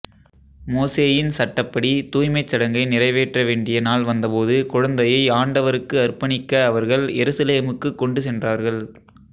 மோசேயின் சட்டப்படி தூய்மைச் சடங்கை நிறைவேற்றவேண்டிய நாள் வந்தபோது குழந்தையை ஆண்டவருக்கு அர்ப்பணிக்க அவர்கள் எருசலேமுக்குக் கொண்டு சென்றார்கள்